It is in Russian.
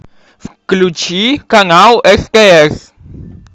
включи канал стс